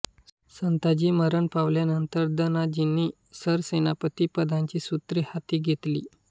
संताजी मरण पावल्यानंतर धनाजींनी सरसेनापती पदाची सूत्रे हाती घेतली